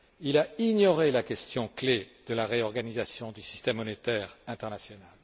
Il a ignoré la question clé de la réorganisation du système monétaire international.